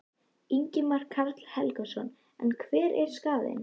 Ingimar Karl Helgason: En hver er skaðinn?